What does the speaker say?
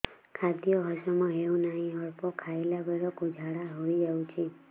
ଖାଦ୍ୟ ହଜମ ହେଉ ନାହିଁ ଅଳ୍ପ ଖାଇଲା ବେଳକୁ ଝାଡ଼ା ହୋଇଯାଉଛି